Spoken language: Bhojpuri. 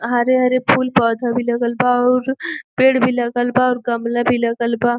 हरे-हरे फूल पौधा भी लगल बा अउर पेड़ भी लगल बा अउर गमला भी लगल बा।